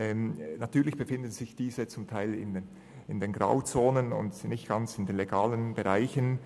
Natürlich befinden sich diese manchmal in den Grauzonen und nicht ganz im legalen Bereich.